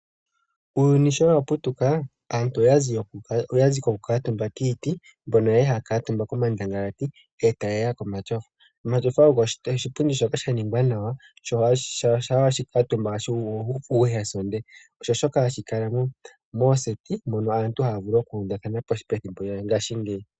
Uuyuni showaputuka aantu oyazi koku kaatumba kiiti, mpono yali haya kaatumba komandangalati ndele tayeya komatyofa. Omatyofa ogo oshipundi shoka shaningwa nawa, sha weshi kala omutumba oto kala wuuvite nawa. Osho shoka hashikala moondunda dhokugondja mono aantu haavulu okuuvathana pethimbo lyongaashingeyi.